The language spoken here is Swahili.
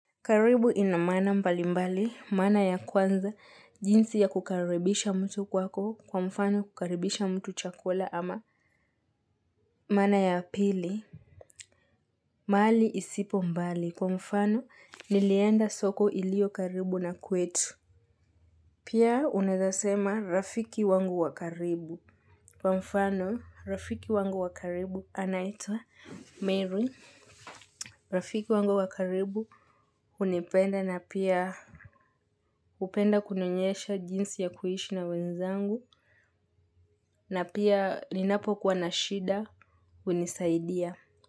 Karibu ina maana mbalimbali maana ya kwanza jinsi ya kukaribisha mtu kwako kwa mfano kukaribisha mtu chakula ama maana ya pili. Mahali isipo mbali kwa mfano nilienda soko iliyo karibu na kwetu. Pia unaeza sema rafiki wangu wa karibu. Kwa mfano, rafiki wangu wa karibu anaitwa Mary. Rafiki wangu wa karibu hunipenda na pia hupenda kunionyesha jinsi ya kuishi na wenzangu na pia ninapokuwa na shida hunisaidia.